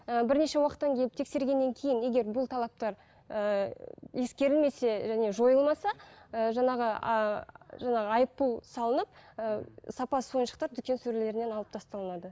ііі бірнеше уақыттан келіп тексергеннен кейін егер бұл талаптар ііі ескерілмесе және жойылмаса і жаңағы ііі жаңағы айыппұл салынып ііі сапасыз ойыншықтар дүкен сөрелерінен алып тасталынады